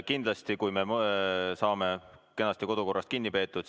Kindlasti, kui me saame kenasti kodukorrast kinni peetud.